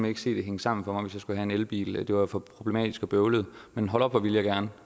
ikke se det hænge sammen for mig hvis have en elbil det var for problematisk og bøvlet men hold op hvor ville jeg gerne